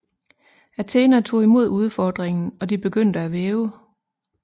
Athena tog imod udfordringen og de begyndte at væve